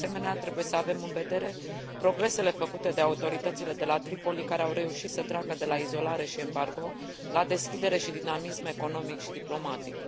De asemenea, trebuie să avem în vedere progresele făcute de autoritățile de la Tripoli, care au reușit să treacă de la izolare și embargo, la deschidere și dinamism economic și diplomatic.